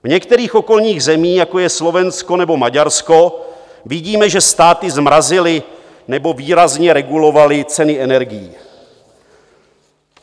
V některých okolních zemích, jako je Slovensko nebo Maďarsko, vidíme, že státy zmrazily nebo výrazně regulovaly ceny energií.